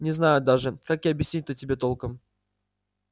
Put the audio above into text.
не знаю даже как и объяснить-то тебе толком